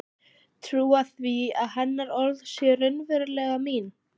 Trúa því að hennar orð séu raunverulega mín.